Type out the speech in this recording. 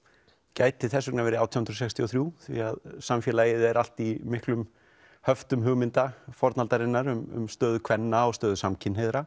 gæti þess vegna verið átján hundruð sextíu og þrjú því samfélagið er allt í miklum höftum hugmynda fornaldarinnar um stöðu kvenna og stöðu samkynhneigðra